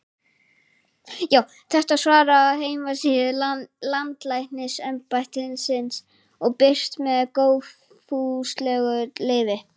Þetta svar er af heimasíðu Landlæknisembættisins og birt með góðfúslegu leyfi.